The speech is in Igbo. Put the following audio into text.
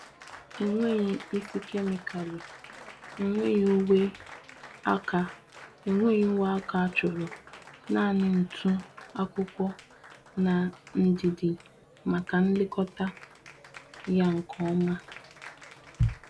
Enwegh isi kemịkalụ, enweghị uwe aka enweghị uwe aka achọrọ. Naanị ntụ, akwụkwọ, na ndidi maka nlekọta ya nke oma.